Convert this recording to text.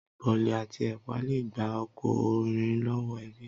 Bolí ati epà le gbá ọkunrin lọwọ ebí